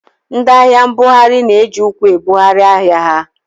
Ndị ahịa mbugharị na-eji ụkwụ ebugharị ahịa ha.